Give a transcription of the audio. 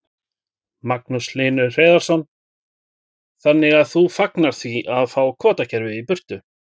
Magnús Hlynur Hreiðarsson: Þannig að þú fagnar því að fá kvótakerfið í burtu?